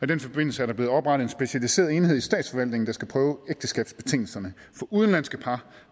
den forbindelse er der blevet oprettet en specialiseret enhed i statsforvaltningen der skal prøve ægteskabsbetingelserne for udenlandske par